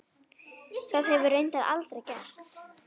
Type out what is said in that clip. Það hefur reyndar aldrei gerst.